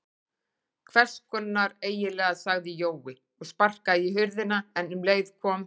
Hvess konar eiginlega sagði Jói og sparkaði í hurðina en um leið kom